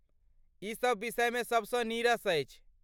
ई सभ विषयमे सबसँ नीरस अछि।